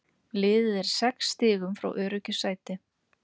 Liðið er sex stigum frá öruggu sæti.